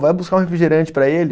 Vai buscar um refrigerante para ele.